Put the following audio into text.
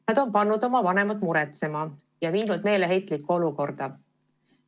Nad on pannud oma vanemad muretsema ja viinud ka neid meeleheitlikku olukorda.